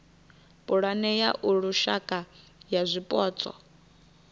pulane ya lushaka ya zwipotso